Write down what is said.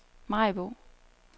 Maribo